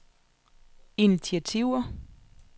initiativer